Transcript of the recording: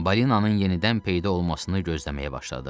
Balinanın yenidən peyda olmasını gözləməyə başladıq.